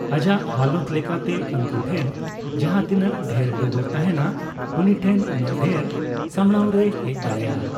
ᱟᱡᱟᱜ ᱦᱟᱞᱚᱛ ᱞᱮᱠᱟᱛᱮ ᱩᱱᱠᱩ ᱴᱷᱮᱱ ᱡᱟᱦᱟᱸ ᱛᱤᱱᱟᱹᱜ ᱰᱷᱮᱨ ᱰᱚᱜᱚᱨ ᱛᱟᱦᱮᱱᱟ ᱩᱱᱤᱴᱷᱮᱱ ᱩᱱᱟᱹᱜ ᱰᱷᱮᱨ ᱥᱟᱢᱲᱟᱣ ᱨᱮᱭ ᱦᱮᱡ ᱫᱟᱲᱮᱭᱟᱜᱼᱟ ᱾